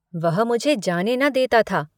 वह मुझे जाने न देता था।